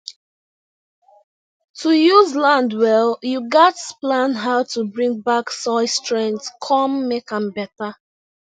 to use land well you gatz plan how to bring back soil strength con make am better